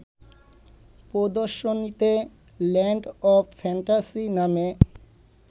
প্রদর্শনীতে land of fantasy নামে